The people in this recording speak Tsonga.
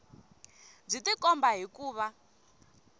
byi tikomba hi ku va